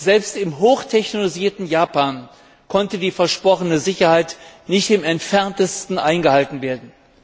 Selbst im hoch technologisierten Japan konnte die versprochene Sicherheit nicht im Entferntesten eingehalten werden.